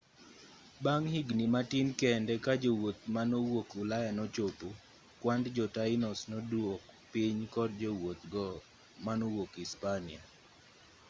bang' higni matin kende kajowuoth manowuok ulaya nochopo kwand jotainos noduok piny kod jowuoth go manowuok ispania